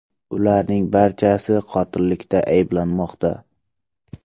Ularning barchasi qotillikda ayblanmoqda.